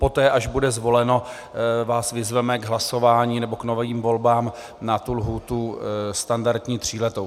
Poté, až bude zvoleno, vás vyzveme k hlasování nebo k novým volbám na tu lhůtu standardní tříletou.